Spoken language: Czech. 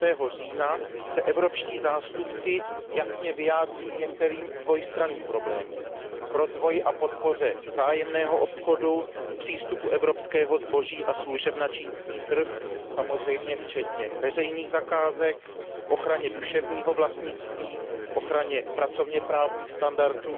6. října se evropští zástupci jasně vyjádří k některým dvojstranným problémům k rozvoji a podpoře vzájemného obchodu, přístupu evropského zboží a služeb na čínský trh, samozřejmě včetně veřejných zakázek, ochraně duševního vlastnictví, ochraně pracovněprávních standardů,